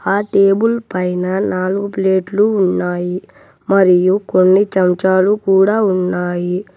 ఆ టేబుల్ పైన నాలుగు ప్లేట్లు ఉన్నాయి మరియు కొన్ని చెంచాలు కూడా ఉన్నాయి.